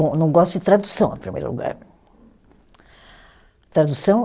Bom, eu não gosto de tradução, em primeiro lugar. tradução